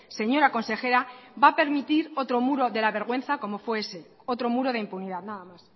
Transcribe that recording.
señora consejera va a permitir otro muro de la vergüenza como fue ese otro muro de impunidad nada más